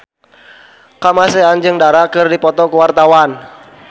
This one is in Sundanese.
Kamasean jeung Dara keur dipoto ku wartawan